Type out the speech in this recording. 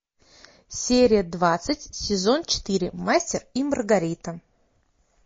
серия двадцать сезон четыре мастер и маргарита